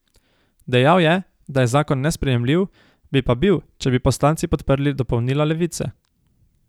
Dejal je, da je zakon nesprejemljiv, bi pa bil, če bi poslanci podprli dopolnila Levice.